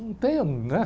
Não tem um, né?